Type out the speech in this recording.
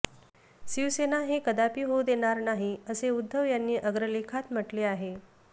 शिवसेना हे कदापि होऊ देणार नाही असे उद्धव यांनी अग्रलेखात म्हटले आहे